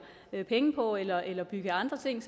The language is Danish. penge på eller eller bygger andre ting